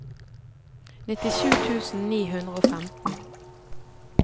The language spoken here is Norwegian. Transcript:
nittisju tusen ni hundre og femten